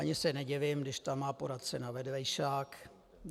Ani se nedivím, když tam má poradce na vedlejšák.